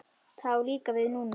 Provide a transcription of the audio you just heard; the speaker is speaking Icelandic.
Það á líka við núna.